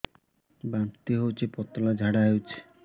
ବାନ୍ତି ହଉଚି ପତଳା ଝାଡା ହଉଚି